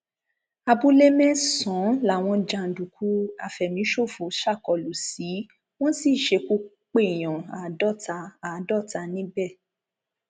abúlé mẹsànán làwọn jàǹdùkú àfẹmíṣòfò ṣàkólú sí wọn sì ṣekú pé èèyàn àádọta àádọta níbẹ